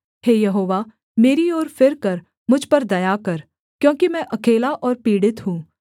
हे यहोवा मेरी ओर फिरकर मुझ पर दया कर क्योंकि मैं अकेला और पीड़ित हूँ